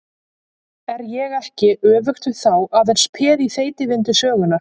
Er ég ekki, öfugt við þá, aðeins peð í þeytivindu sögunnar?